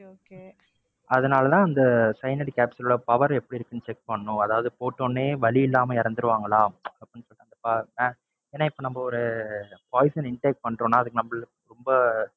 அதுனாலதான் அந்த cyanide capsule ஓட power எப்படி இருக்குன்னு check பண்ணனும், அதாவது போட்டவுடனே வலி இல்லாம இறந்துடுவாங்களா அப்படின்னு சொல்லிட்டு அந்த ஏன்னா இப்ப நம்ப ஒரு poision intake